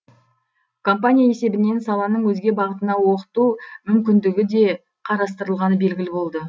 компания есебінен саланың өзге бағытына оқыту мүмкіндігі де қарастырылғаны белгілі болды